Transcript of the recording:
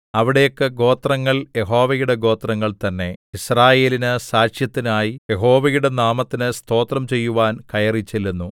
അവിടേക്ക് ഗോത്രങ്ങൾ യഹോവയുടെ ഗോത്രങ്ങൾ തന്നെ യിസ്രായേലിന് സാക്ഷ്യത്തിനായി യഹോവയുടെ നാമത്തിന് സ്തോത്രം ചെയ്യുവാൻ കയറിച്ചെല്ലുന്നു